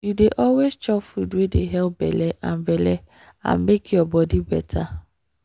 you dey always chop food wey dey help belle and belle and make your body better.